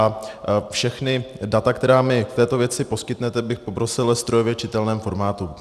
A všechna data, která mi v této věci poskytnete, bych poprosil ve strojově čitelném formátu.